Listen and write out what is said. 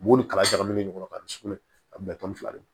U b'olu kala ɲagami ɲɔgɔn na ka sugunɛ a bɛɛ tɔn fila de don